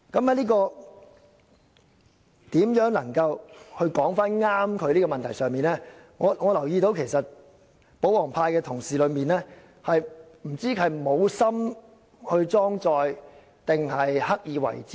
就正確表達中港法制之間的關係，我留意到，有些保皇派同事不知道是無心裝載，還是刻意為之？